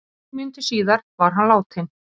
Nokkrum mínútum síðar var hann látinn